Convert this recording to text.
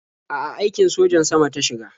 A'a, aikin sojan sama ta shiga.